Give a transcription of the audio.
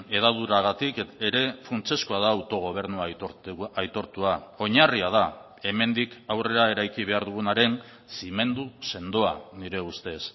hedaduragatik ere funtsezkoa da autogobernu aitortua oinarria da hemendik aurrera eraiki behar dugunaren zimendu sendoa nire ustez